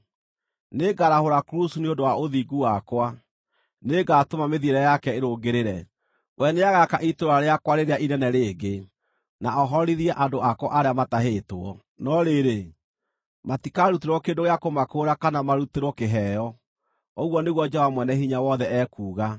Nĩngarahũra Kurusu nĩ ũndũ wa ũthingu wakwa: Nĩngatũma mĩthiĩre yake ĩrũngĩrĩre. We nĩagaaka itũũra rĩakwa rĩrĩa inene rĩngĩ, na ohorithie andũ akwa arĩa matahĩtwo, no rĩrĩ, matikarutĩrwo kĩndũ gĩa kũmakũũra kana marutĩrwo kĩheo, ũguo nĩguo Jehova Mwene-Hinya-Wothe ekuuga.”